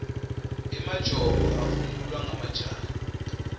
emajobo avunulwa majaha